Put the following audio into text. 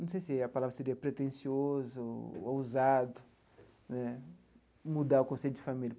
Não sei se a palavra seria pretencioso, ousado né, mudar o conceito de família.